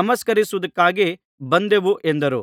ನಮಸ್ಕರಿಸುವುದಕ್ಕಾಗಿ ಬಂದೆವು ಎಂದರು